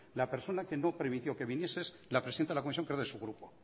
la persona que no permitió que viniese es la presidenta de la comisión que es de su grupo